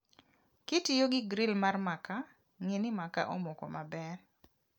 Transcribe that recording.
Kitiyogi gril mar makaa, ng'ii ni makaa omoko maber